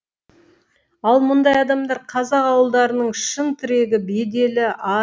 ал мұндай адамдар қазақ ауылдарының шын тірегі беделі ары